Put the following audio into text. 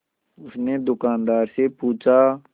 उसने दुकानदार से पूछा